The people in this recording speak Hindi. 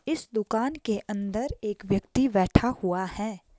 इस दुकान के अंदर एक व्यक्ति बैठा हुआ है।